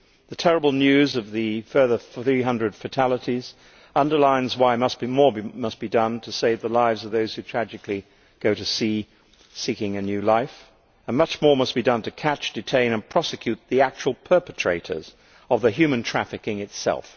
The terrible news of the further 300 fatalities underlines why more must be done to save the lives of those who tragically go to sea seeking a new life, and much more must be done to catch, detain and prosecute the actual perpetrators of the human trafficking itself.